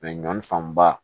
ɲɔ fanba